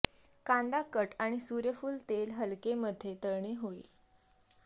कांदा कट आणि सूर्यफूल तेल हलके मध्ये तळणे होईल